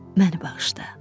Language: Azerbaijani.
Məni bağışla.